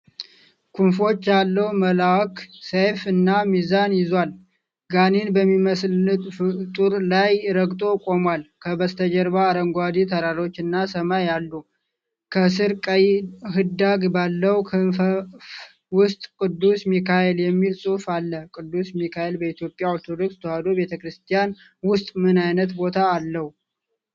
ክንፎች ያለው መልአክ ሰይፍ እና ሚዛን ይዟል። ጋኔን በሚመስልፍጡርላይ ረግጦ ቆሟል። ከበስተጀርባ አረንጓዴ ተራሮችና ሰማይ አሉ። ከሥር ቀይ ኅዳግ ባለው ክፈፍ ውስጥ "ቅዱስ ሚካኤል" የሚል ጽሑፍ አለ። ቅዱስ ሚካኤል በኢትዮጵያ ኦርቶዶክስ ተዋሕዶ ቤተ ክርስቲያን ውስጥ ምን ዓይነት ቦታ አለው?